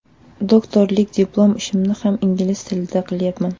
Doktorlik diplom ishimni ham ingliz tilida qilyapman.